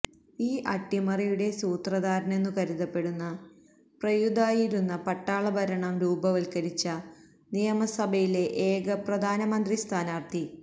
ഈ അട്ടിമറിയുടെ സൂത്രധാരനെന്നു കരുതപ്പെടുന്ന പ്രയുതായിയിരുന്നു പട്ടാളഭരണം രൂപവത്കരിച്ച നിയമസഭയിലെ ഏക പ്രധാനമന്ത്രിസ്ഥാനാർഥി